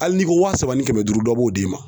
Hali n'i ko wa saba ni kɛmɛ duuru dɔ b'o d'i ma.